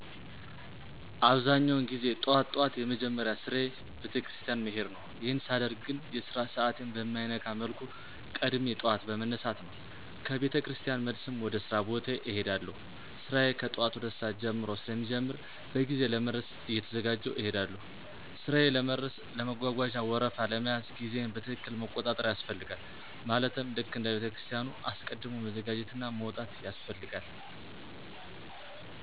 አብዛኛውን ጊዜ ጠዋት ጠዋት የመጀመሪያ ስራየ ቤተክርስቲያን መሄድ ነው፣ ይሄን ሳደርግ ግን የስራ ሰዓቴን በማይነካ መልኩ ቀድሜ ጠዋት በመነሳት ነው፣ ከ ቤተክርስቲያን መልስም ወደ ሥራ ቦታዬ እሄዳለሁ። ስራዬ ከጠዋቱ 2:00 ሰዓት ጀምሮ ስለሚጀምር በጊዜ ለመድረስ እየተዘጋጀሁ እሄዳለሁ። ሥራዬ ለመድረስ ለመጓጓዣ ወረፋ ለመያዝ ጊዜየን በትክክል መቆጣጠር ያስፈልጋል ማለትም ልክ እንደ ቤተክርስቲያኑ አስቀድም መዘጋጀትና መውጣት ያስፈልጋል።